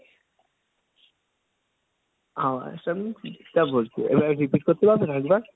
আমার সামনে বই কি এবারে repeat করতে পারবে আর একবার?